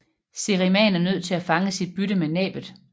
Seriemaen er nødt til at fange sit bytte med næbbet